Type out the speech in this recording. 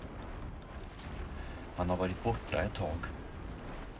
Han har varit borta ett tag.